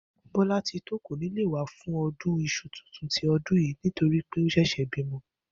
Bó̩látitó kò ní lè wá fún o̩dún is̩u tuntun ti o̩dún yìí to rí pé ó s̩è̩s̩è̩ bímo̩